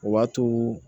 O b'a to